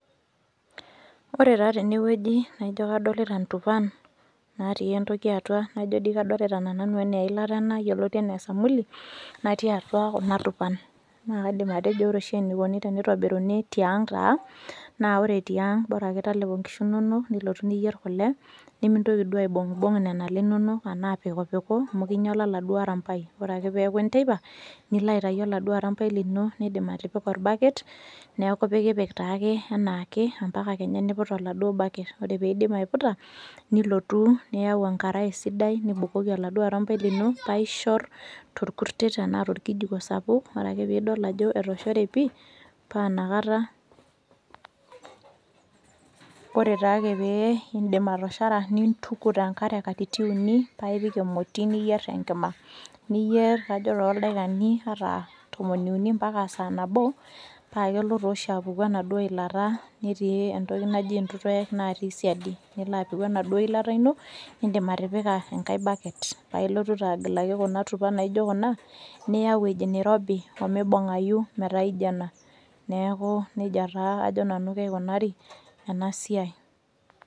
Ore taa tenewueji naaijo kadolita intupan naatii entoki atua najo dii kadolita tenanu anaa eilata ena yoloti anaa esamuli natii atua kuna tupan. Naakaidim atejo ore oshi eneikoni teneitobiruni tiang' taa naa ore tiang' borake talepo nkishu inonok nilotu niyierr kole nimintoki duo aibung'bung' nenale inonok anaa apikupiku amu keinyala laduo arampai. Ore ake peeaku enteipa niloaitayu oladuo arampai lino nindim atipika olbaket neaku ipikipik taake anaake ompaka kenya neiput oladuo baket. Ore peeidip aiputa nilotu niyau enkarai sidai nibukoki oladuo arampai lino paaishorr tolkurtet anaa tolkijiko sapuk ore ake pidol ajo etoshore pii paanakata, ore taake pee indip atoshora nintuku tenkare katitin uni paaipik emoti niyierr tenkima. Niyieerr kajo toldaikani ataa tomoni uni mpakaa saa nabo paakelo tooshi apuku enaduo ilata netii entoki naji ntutuek naatii siadi. Niloapiku enaduo ilata ino nindim atipika engai  baket paailotu taa agilaki kuna tupan naaijo kuna niya ewueji neirobi omeibung'ayu metaaijo ena. Neakuu neija taa ajo nanu keikunari enasiai.